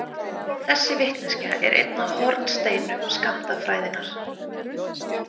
Þessi vitneskja er einn af hornsteinum skammtafræðinnar.